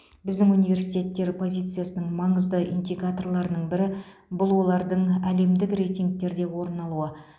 біздің университеттер позициясының маңызды индикаторларының бірі бұл олардың әлемдік рейтингтерде орын алуы